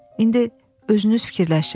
İndi özünüz fikirləşin.